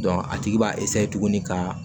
a tigi b'a tuguni ka